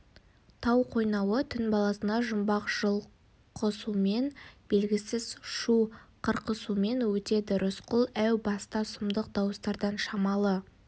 тау қойнауы түн баласына жұмбақ жұлқысумен белгісіз шу қырқысумен өтеді рысқұл әу баста сұмдық дауыстардан шамалы